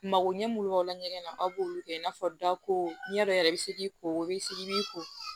Mago ɲɛ min b'aw la ɲɛgɛn na a b'olu kɛ i n'a fɔ da ko ɲɛdɔn yɛrɛ i be se k'i ko o be se i b'i ko